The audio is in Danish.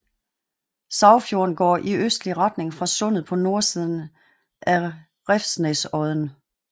Sagfjorden går i østlig retning fra sundet på nordsiden af Revsnesodden